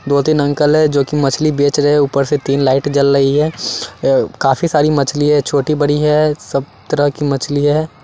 दो तीन अंकल है जोकि मछली बेच रहे हैं ऊपर से तीन लाइट जल रही है काफी सारी मछली है छोटी बड़ी है सब तरह की मछली है।